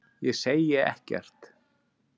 Ég segi ekkert.